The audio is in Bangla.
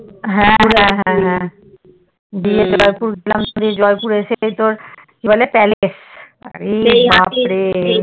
হ্যা হ্যা হ্যা গিয়ে জয়পুর গেলাম এরপর জয়পুর এসে তোর কি বলে Palace অরে বাপ্ রে